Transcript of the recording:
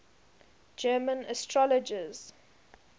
german astrologers